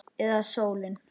Eða sólin?